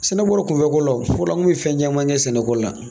Sɛnɛ bɔla kunfɛ ko la, fɔlɔla an kun be fɛn caman kɛ sɛnɛ ko la.